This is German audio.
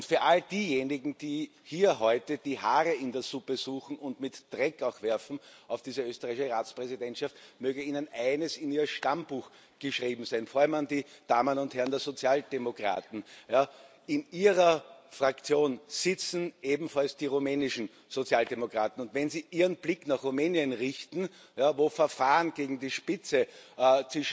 Für all diejenigen, die hier heute die Haare in der Suppe suchen und auch mit Dreck auf diese österreichische Präsidentschaft werfen Möge Ihnen eines in Ihr Stammbuch geschrieben sein, vor allem den Damen und Herren der Sozialdemokraten In Ihrer Fraktion sitzen ebenfalls die rumänischen Sozialdemokraten, und wenn sie Ihren Blick nach Rumänien richten, wo gerade Verfahren gegen die Spitze wegen